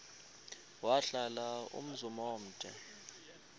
wahlala umzum omde